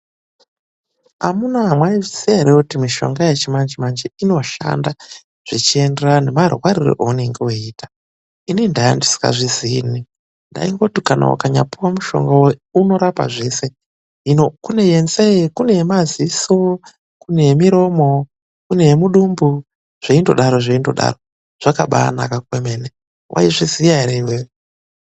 Amunaa mwaizviziya ere kuti mishonga yechimanje-manje inoshanda zvichienderana nemarwarire eunenge weiita. Inini ndaa ndisingazvizii ini, ndangoti kana ukanyapuwa mushonga unorapa zveshe. Hino kune wenzee, kune wemadziso, kune yemiromo, kune yemudumbu zvichienda zvakadaro. Zvakabaanaka kwemene. Waizviziya ere iwewe?